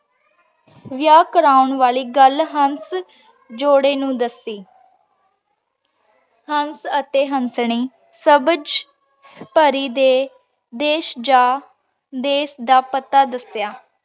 ਵਿਯਾਹ ਕਰਨ ਵਾਲੀ ਗਲ ਹੰਸ ਜੋਰੇ ਨੂ ਦਾਸੀ ਹੰਸ ਅਤੀ ਹੰਸਨੀ ਸਵਾਝ ਪਾਰੀ ਦੇ ਦੇਸ਼ ਜਾ ਦੀਨ ਦਾ ਪਤਾ ਦਸ੍ਯ